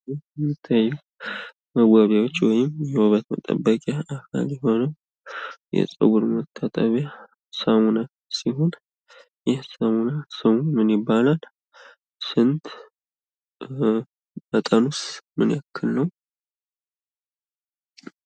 በምስሉ ላይ የሚታየው መዋቢያዎች ወይም የውበት መጠበኪያ ሲሆኑ፤ የጸጉር መታጠቢያ ሳሙና ሲሆን፤ ይህ ሳሙና ስሙ ምን ይባላል? መጠኑስ ምን ያክል ነው?